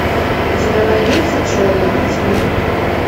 у тебя найдется человек тьмы